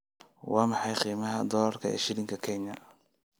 Waa maxay qiimaha dollarka ee shilinka Kenya?